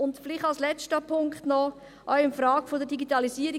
Vielleicht noch als letzter Punkt, zur Frage der Digitalisierung: